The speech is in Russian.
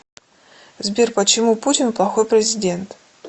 сбер почему путин плохой президент